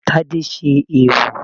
Tade ṣe eèwò